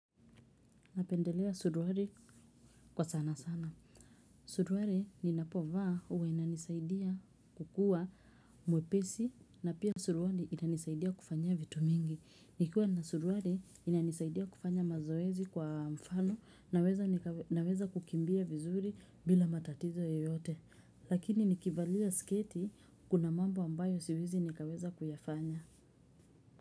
Napendelea suruali kwa sana sana. Suruali ninapovaah uwa inanisaidia kukua mwepesi na pia suruali inanisaidia kufanyia vitu mingi. Nikiwa na suruali inanisaidia kufanya mazoezi kwa mfano na weza kukimbia vizuri bila matatizo yoyote. Lakini nikivalia sketi kuna mambo ambayo siwezi nikaweza kuyafanya.